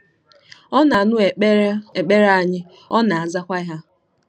Ọ na-anụ ekpere ekpere anyị, ọ na-azakwa ha.